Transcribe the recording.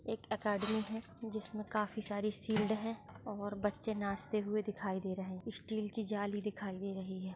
एक एकेडमी है जिसमें काफी सारी शील्ड है और बच्चे नाचते हुए दिखाई दे रहे हैं स्टील की जाली दिखाई दे रही है।